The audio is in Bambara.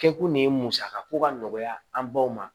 Kɛkun de ye musakako ka nɔgɔya an baw ma